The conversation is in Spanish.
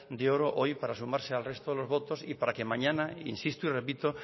de oro hoy para sumarse al resto de los votos y para que mañana insisto y repito